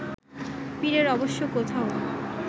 পীরের অবশ্য কোথাও